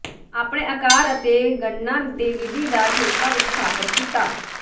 ਆਪਣੇ ਆਕਾਰ ਅਤੇ ਗਣਨਾ ਦੇ ਵਿਧੀ ਦਾ ਠੇਕਾ ਵਿਚ ਸਥਾਪਿਤ ਕੀਤਾ